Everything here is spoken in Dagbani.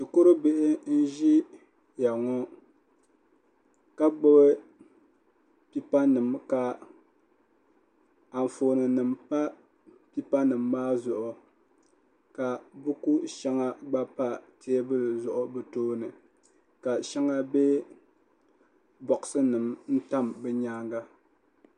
Shikuru bihi n ʒia ŋɔ ka gbibi pipa nima ka anfooni nima pa pipa nima maa zuɣu ka buku sheŋa gba pa teebuli maa zuɣu ka sheŋa be boaɣasi nimani n tam bɛ nyaanga.